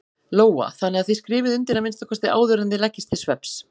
Lóa: Þannig að þið skrifið undir að minnsta kosti áður en þið leggist til svefns?